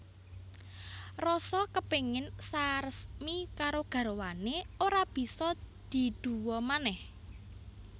Rasa kepingin saresmi karo garwané ora bisa diduwa manèh